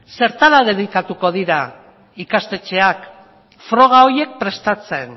zertara dedikatuko dira ikastetxeak froga horiek prestatzen